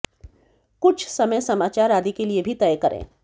कुछ समय समाचार आदि के लिए भी तय करें